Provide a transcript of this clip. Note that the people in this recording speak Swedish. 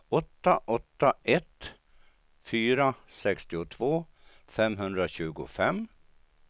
åtta åtta ett fyra sextiotvå femhundratjugofem